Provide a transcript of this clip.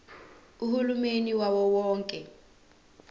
uhulumeni wawo wonke